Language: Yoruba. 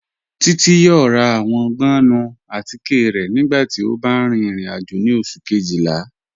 Títi yọ̀ọ̀ rà awọn gbọ̀nnù àtìké rẹ̀ nígbàtí ó bá rìn ìrìn-àjò ni Ọṣù̀ kejìlá.